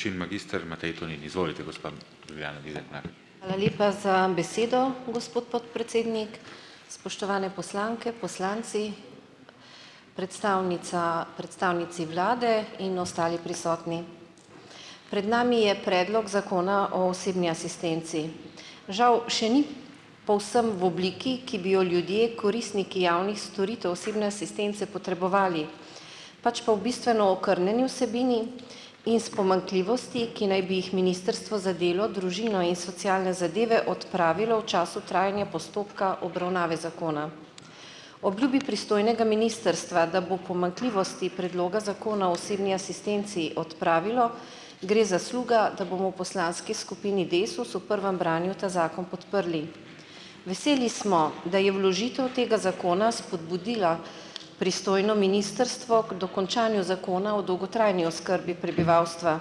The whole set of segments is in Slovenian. Hvala lepa za besedo, gospod podpredsednik. Spoštovane poslanke, poslanci, predstavnica, predstavnici vlade in ostali prisotni. Pred nami je predlog Zakona o osebni asistenci. Žal še ni povsem v obliki, ki bi jo ljudje, koristniki javnih storitev osebne asistence potrebovali, pač pa v bistveno okrnjeni vsebini in s pomanjkljivostmi, ki naj bi jih Ministrstvo za delo, družino in socialne zadeve odpravilo v času trajanja postopka obravnave zakona. Obljubi pristojnega ministrstva, da bo pomanjkljivosti predloga Zakona o osebni asistenci odpravilo, gre zasluga, da bomo v poslanski skupini Desus v prvem branju ta zakon podprli. Veseli smo, da je vložitev tega zakona spodbudila pristojno ministrstvo k dokončanju zakona o dolgotrajni oskrbi prebivalstva,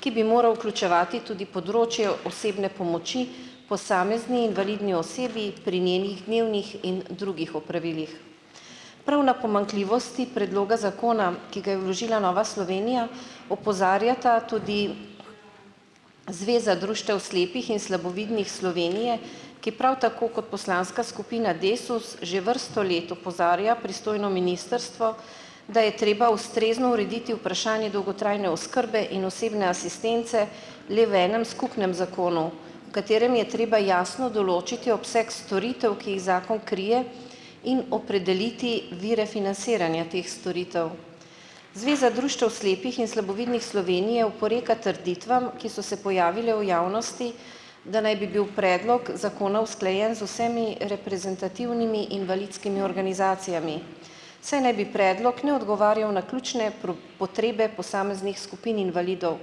ki bi moral vključevati tudi področje osebne pomoči posamezni invalidni osebi pri njenih dnevnih in drugih opravilih. Prav na pomanjkljivosti predloga zakona, ki ga je vložila Nova Slovenija, opozarjata tudi Zveza društev slepih in slabovidnih Slovenije, ki prav tako kot poslanska skupina Desus že vrsto let opozarja pristojno ministrstvo, da je treba ustrezno urediti vprašanje dolgotrajne oskrbe in osebne asistence le v enem skupnem zakonu, v katerem je treba jasno določiti obseg storitev, ki jih zakon krije in opredeliti vire financiranja teh storitev. Zveza društev slepih in slabovidnih Slovenije oporeka trditvam, ki so se pojavile v javnosti, da naj bi bil predlog zakona usklajen z vsemi reprezentativnimi invalidskimi organizacijami, saj naj bi predlog ne odgovarjal na ključne potrebe posameznih skupin invalidov,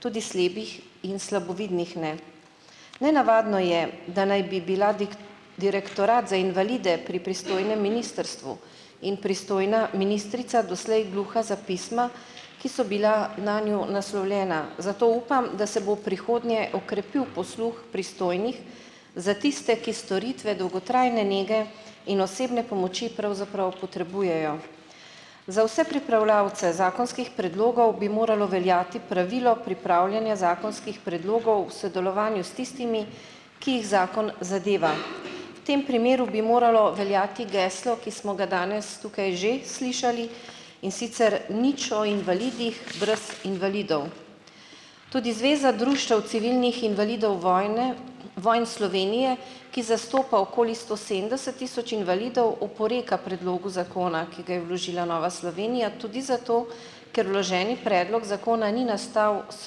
tudi slepih in slabovidnih, ne. Nenavadno je, da naj bi bila Direktorat za invalide pri pristojnem ministrstvu in pristojna ministrica doslej gluha za pisma, ki so bila nanju naslovljena, zato upam, da se bo v prihodnje okrepil posluh pristojnih za tiste, ki storitve dolgotrajne nege in osebne pomoči pravzaprav potrebujejo. Za vse pripravljavce zakonskih predlogov bi moralo veljati pravilo pripravljanja zakonskih predlogov kako sodelovanju s tistimi, ki jih zakon zadeva. V tem primeru bi moralo veljati geslo, ki smo ga danes tukaj že slišali, in sicer nič o invalidih, brez invalidov. Tudi Zveza društev civilnih invalidov vojne Slovenije, ki zastopa okoli sto sedemdeset tisoč invalidov, oporeka predlogu zakona, ki ga je vložila Nova Slovenija, tudi zato, ker vloženi predlog zakona ni nastal s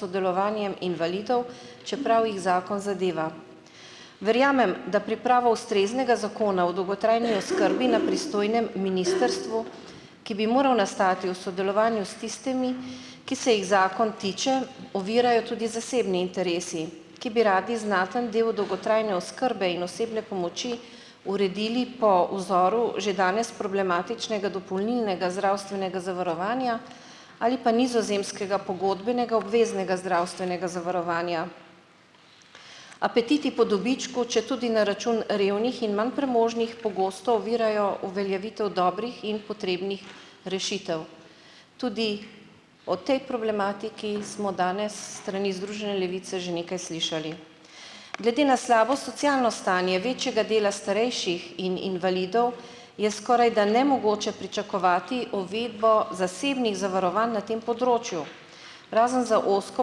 sodelovanjem invalidov, čeprav jih zakon zadeva. Verjamem, da pripravo ustreznega zakona o dolgotrajni oskrbi na pristojnem ministrstvu, ki bi moral nastati v sodelovanju s tistimi, ki se jih zakon tiče, ovirajo tudi zasebni interesi, ki bi radi znaten del dolgotrajne oskrbe in osebne pomoči uredili po vzoru že danes problematičnega dopolnilnega zdravstvenega zavarovanja ali pa nizozemskega pogodbenega obveznega zdravstvenega zavarovanja. Apetiti po dobičku, četudi na račun revnih in manj premožnih, pogosto ovirajo uveljavitev dobrih in potrebnih rešitev. Tudi o tej problematiki smo danes s strani Združene levice že nekaj slišali. Glede na slabo socialno stanje večjega dela starejših in invalidov je skorajda nemogoče pričakovati uvedbo zasebnih zavarovanj na tem področju, razen za ozko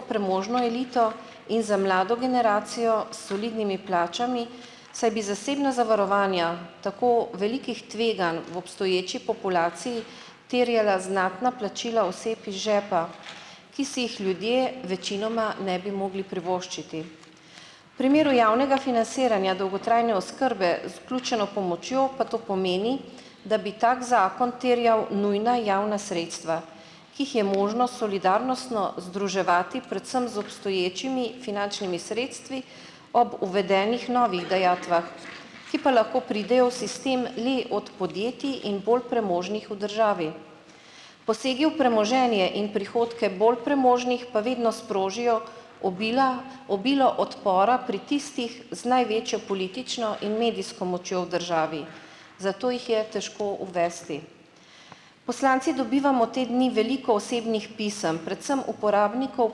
premožno elito in za mlado generacijo s solidnimi plačami, saj bi zasebna zavarovanja tako velikih tveganj v obstoječi populaciji terjala znatna plačila oseb iz žepa, ki si jih ljudje večinoma ne bi mogli privoščiti. Primeru javnega financiranja dolgotrajne oskrbe z vključeno pomočjo pa to pomeni, da bi tak zakon terjal nujna javna sredstva, ki jih je možno solidarnostno združevati predvsem z obstoječimi finančnimi sredstvi ob uvedenih novih dajatvah, ki pa lahko pridejo v sistem le od podjetij in bolj premožnih v državi. Posegi v premoženje in prihodke bolj premožnih pa vedno sprožijo obila obilo odpora pri tistih z največjo politično in medijsko močjo v državi, zato jih je težko uvesti. Poslanci dobivamo te dni veliko osebnih pisem, predvsem uporabnikov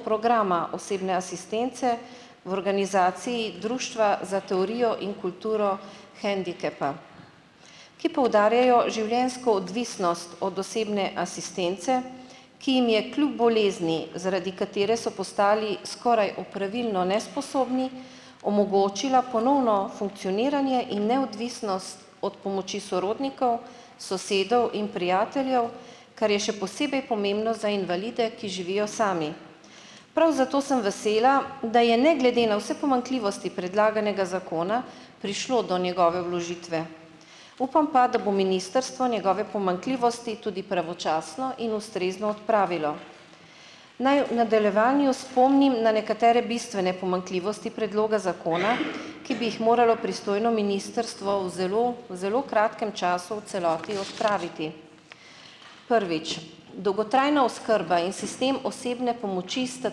programa osebne asistence v organizaciji Društva za teorijo in kulturo hendikepa, ki poudarjajo življenjsko odvisnost od osebne asistence, ki jim je kljub bolezni, zaradi katere so postali skoraj opravilno nesposobni, omogočila ponovno funkcioniranje in neodvisnost od pomoči sorodnikov, sosedov in prijateljev, kar je še posebej pomembno za invalide, ki živijo sami. Prav zato sem vesela, da je ne glede na vse pomanjkljivosti predlaganega zakona prišlo do njegove vložitve. Upam pa, da bo ministrstvo njegove pomanjkljivosti tudi pravočasno in ustrezno odpravilo. Naj v nadaljevanju spomnim na nekatere bistvene pomanjkljivosti predloga zakona, ki bi jih moralo pristojno ministrstvo v zelo v zelo kratkem času v celoti odpraviti. Prvič, dolgotrajna oskrba in sistem osebne pomoči sta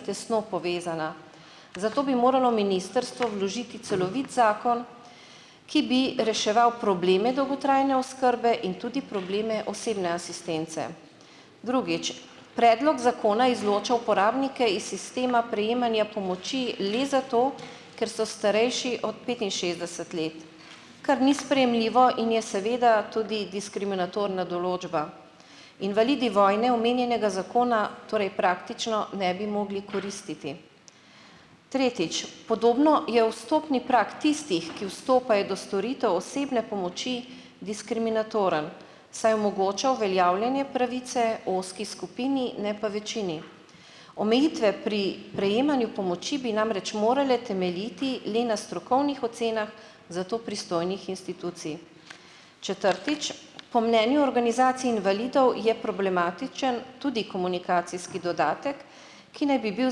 tesno povezana, zato bi moralo ministrstvo vložiti celovit zakon, ki bi reševal probleme dolgotrajne oskrbe in tudi probleme osebne asistence. Drugič, predlog zakona izloča uporabnike iz sistema prejemanja pomoči le zato, ker so starejši od petinšestdeset let, kar ni sprejemljivo in je seveda tudi diskriminatorna določba, invalidi vojne omenjenega zakona torej praktično ne bi mogli koristiti. Tretjič, podobno je vstopni prag tistih, ki vstopajo do storitev osebne pomoči, diskriminatoren, saj omogoča uveljavljanje pravice ozki skupini, ne pa večini. Omejitve pri prejemanju pomoči bi namreč morale temeljiti le na strokovnih ocenah za to pristojnih institucij. Četrtič, po mnenju organizacij invalidov je problematičen tudi komunikacijski dodatek, ki naj bi bil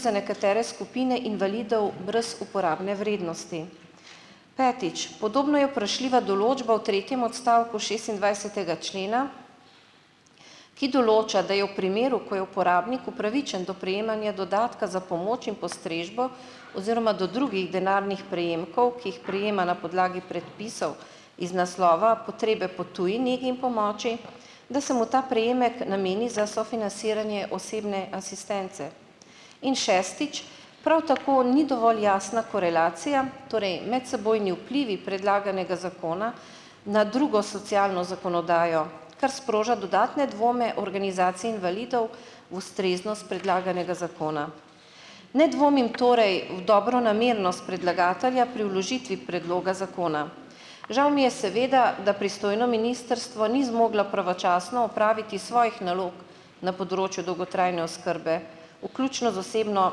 za nekatere skupine invalidov brez uporabne vrednosti. Petič, podobno je vprašljiva določba v tretjem odstavku šestindvajsetega člena, ki določa, da je v primeru, ko je uporabnik upravičen do prejemanja dodatka za pomoč in postrežbo oziroma do drugih denarnih prejemkov, ki jih prejema na podlagi predpisov iz naslova potrebe po tuji negi in pomoči, da se mu ta prejemek nameni za sofinanciranje osebne asistence. In šestič, prav tako ni dovolj jasna korelacija, torej medsebojni vplivi predlaganega zakona na drugo socialno zakonodajo, kar sproža dodatne dvome organizacij invalidov ustreznost predlaganega zakona. Ne dvomim torej v dobronamernost predlagatelja pri vložitvi predloga zakona. Žal mi je, seveda, da pristojno ministrstvo ni zmoglo pravočasno opraviti svojih nalog na področju dolgotrajne oskrbe, vključno z osebno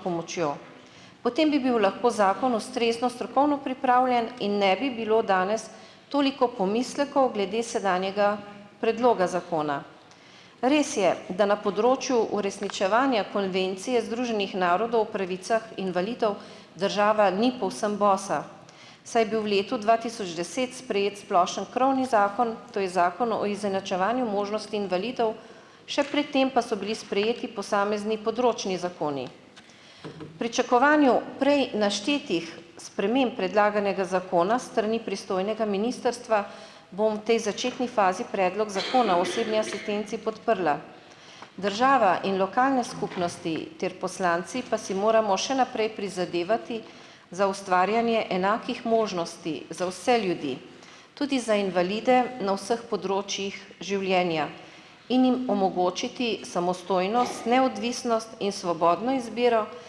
pomočjo. Potem bi bil lahko zakon ustrezno strokovno pripravljen in ne bi bilo danes toliko pomislekov glede sedanjega predloga zakona. Res je, da na področju uresničevanja Konvencije Združenih narodov pravicah invalidov država ni povsem bosa, saj je bil v letu dva tisoč deset sprejet splošni krovni zakon, to je Zakon o izenačevanju možnosti invalidov, še pred tem pa so bili sprejeti posamezni področni zakoni. Pričakovanju prej naštetih sprememb predlaganega zakona s strani pristojnega ministrstva bom tej začetni fazi Predlog zakona o osebni asistenci podprla . Država in lokalne skupnosti ter poslanci pa si moramo še naprej prizadevati za ustvarjanje enakih možnosti za vse ljudi, tudi za invalide, na vseh področjih življenja in jim omogočiti samostojnost, neodvisnost in svobodno izbiro ter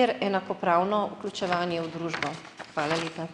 enakopravno vključevanje v družbo. Hvala lepa.